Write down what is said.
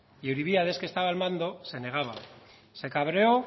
y euribíades que estaba al mando se negaba se cabreó